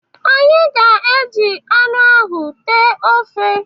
Anyị ga-e ji anụ ahụ tee ofe.